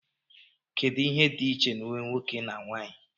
kedu ihe dị iche na uwe nwoke na nwanyị